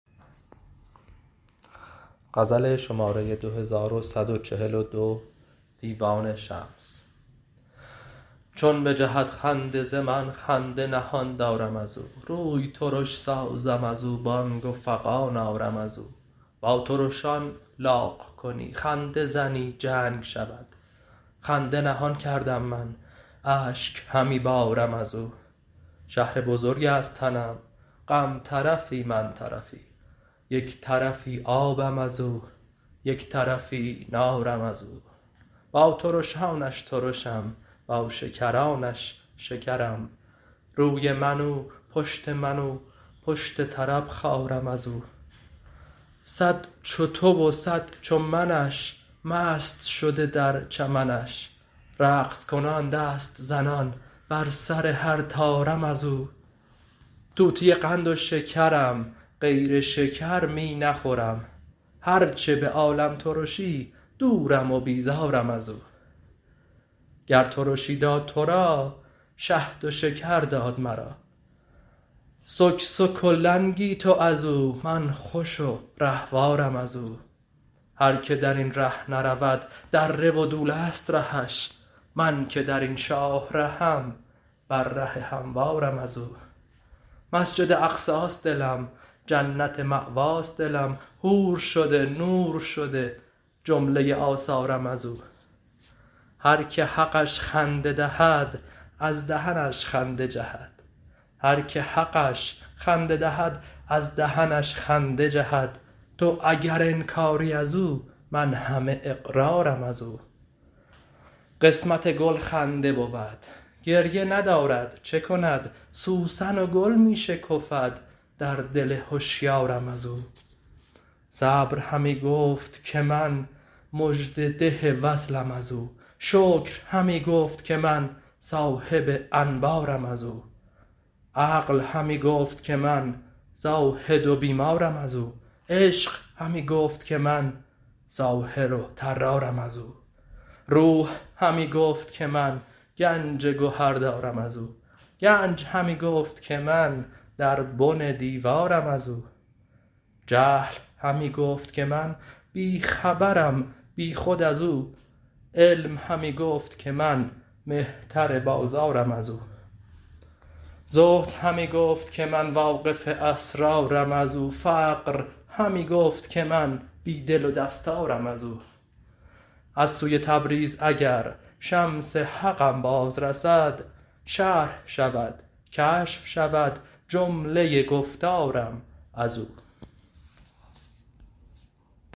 چون بجهد خنده ز من خنده نهان دارم از او روی ترش سازم از او بانگ و فغان آرم از او با ترشان لاغ کنی خنده زنی جنگ شود خنده نهان کردم من اشک همی بارم از او شهر بزرگ است تنم غم طرفی من طرفی یک طرفی آبم از او یک طرفی نارم از او با ترشانش ترشم با شکرانش شکرم روی من او پشت من او پشت طرب خارم از او صد چو تو و صد چو منش مست شده در چمنش رقص کنان دست زنان بر سر هر طارم از او طوطی قند و شکرم غیر شکر می نخورم هر چه به عالم ترشی دورم و بیزارم از او گر ترشی داد تو را شهد و شکر داد مرا سکسک و لنگی تو از او من خوش و رهوارم از او هر کی در این ره نرود دره و دوله ست رهش من که در این شاه رهم بر ره هموارم از او مسجد اقصاست دلم جنت مأواست دلم حور شده نور شده جمله آثارم از او هر کی حقش خنده دهد از دهنش خنده جهد تو اگر انکاری از او من همه اقرارم از او قسمت گل خنده بود گریه ندارد چه کند سوسن و گل می شکفد در دل هشیارم از او صبر همی گفت که من مژده ده وصلم از او شکر همی گفت که من صاحب انبارم از او عقل همی گفت که من زاهد و بیمارم از او عشق همی گفت که من ساحر و طرارم از او روح همی گفت که من گنج گهر دارم از او گنج همی گفت که من در بن دیوارم از او جهل همی گفت که من بی خبرم بیخود از او علم همی گفت که من مهتر بازارم از او زهد همی گفت که من واقف اسرارم از او فقر همی گفت که من بی دل و دستارم از او از سوی تبریز اگر شمس حقم باز رسد شرح شود کشف شود جمله گفتارم از او